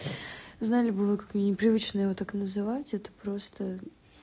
зале было как мне непривычно его так называть это просто